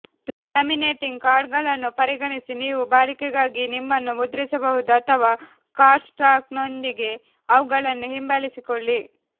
laminating ಕಾರ್ಡುಗಳನ್ನು ಪರಿಗಣಿಸಿ ನೀವು ಬಾಳಿಕೆಗಾಗಿ ನಿಮ್ಮನ್ನು ಮುದ್ರಿಸಬಹುದು ಅಥವಾ ಕಾರ್ಡ್ಸ್ಟಾಕ್ನೊಂದಿಗೆ ಅವುಗಳನ್ನು ಹಿಂಬಾಲಿಸಿಕೊಳ್ಳಿ